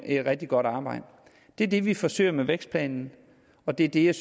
et rigtig godt arbejde det er det vi forsøger med vækstplanen og det er det jeg